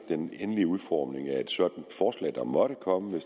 den endelige udformning af et sådant forslag der måtte komme